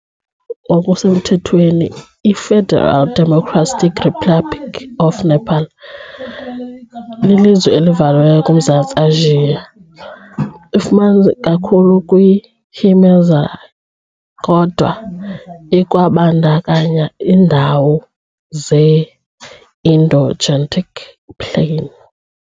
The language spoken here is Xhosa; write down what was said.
okusemthethweni iFederal Democratic Republic of Nepal, lilizwe elivaliweyo kuMzantsi Asia . Ifumaneka ikakhulu kwii -Himalayas, kodwa ikwabandakanya iindawo ze -Indo-Gangetic Plain .